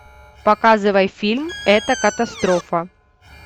показывай фильм это катастрофа